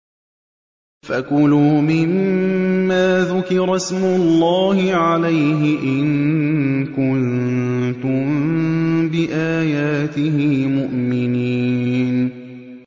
فَكُلُوا مِمَّا ذُكِرَ اسْمُ اللَّهِ عَلَيْهِ إِن كُنتُم بِآيَاتِهِ مُؤْمِنِينَ